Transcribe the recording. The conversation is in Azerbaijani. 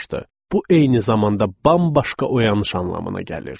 Bu eyni zamanda bambaşqa oyanış anlamına gəlirdi.